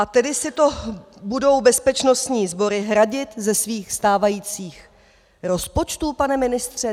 A tedy si to budou bezpečnostní sbory hradit ze svých stávajících rozpočtů, pane ministře?